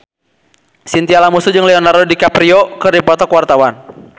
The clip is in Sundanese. Chintya Lamusu jeung Leonardo DiCaprio keur dipoto ku wartawan